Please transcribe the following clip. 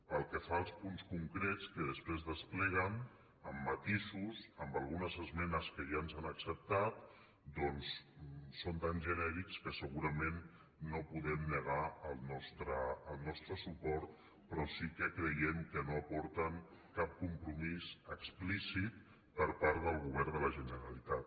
pel que fa als punts concrets que després despleguen amb matisos amb algunes esmenes que ja ens han acceptat doncs són tan genèrics que segurament no podem negar el nostre suport però sí que creiem que no aporten cap compromís explícit per part del govern de la generalitat